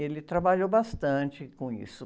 Ele trabalhou bastante com isso.